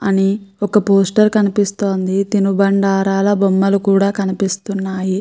అని ఒక పోస్టర్ కనిపిస్తుంది. తినిబండారాల బొమ్మలు కూడా కనిపిస్తున్నాయి.